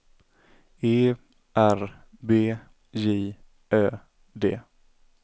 E R B J Ö D